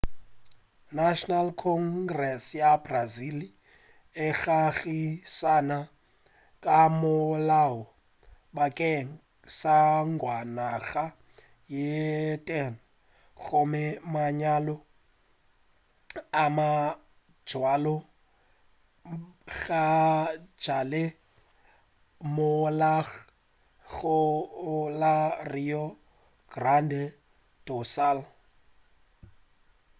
national congress ya brazil e ngangišane ka molao bakeng sa mengwaga ye 10 gome manyalo a mabjalo gabjale a molaong go la rio grande do sul